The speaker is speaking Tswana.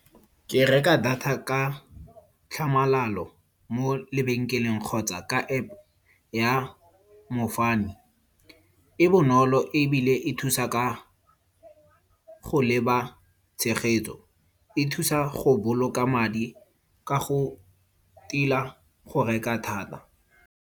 Ke reka data ka tlhamalalo mo lebenkeleng kgotsa ka App ya mofami. E bonolo ebile e thusa ka go leba tshegetso. E thusa go boloka madi ka go tila go reka thata.